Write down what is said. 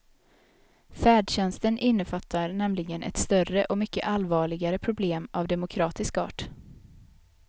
Färdtjänsten innefattar nämligen ett större och mycket allvarligare problem av demokratisk art.